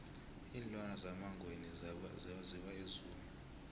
iinlwana zemangweni zawiwa e zoo